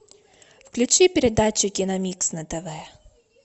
включи передачу киномикс на тв